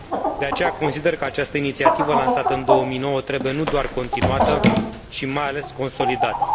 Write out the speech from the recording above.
De aceea, consider că această inițiativă lansată în 2009 trebuie nu doar continuată, ci mai ales consolidată.